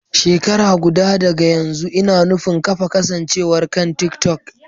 Shekara guda daga yanzu, ina nufin kafa kasancewar kan TikTok.